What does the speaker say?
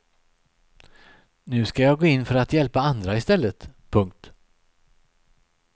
Nu ska jag gå in för att hjälpa andra i stället. punkt